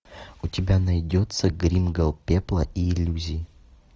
у тебя найдется гримгал пепла и иллюзий